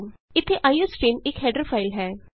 ਇਥੇ ਆਈਓਸਟ੍ਰੀਮ ਇਕ header file ਹੈ